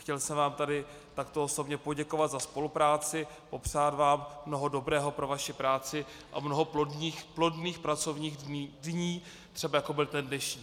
Chtěl jsem vám tady takto osobně poděkovat za spolupráci, popřát vám mnoho dobrého pro vaši práci a mnoho plodných pracovních dní, třeba jako byl ten dnešní.